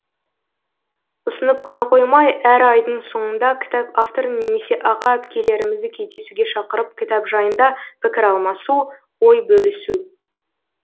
ұсынып қана қоймай әр айдың соңында кітап авторын немесе аға әпкелерімізді кездесуге шақырып кітап жайында пікір алмасу ой бөлісу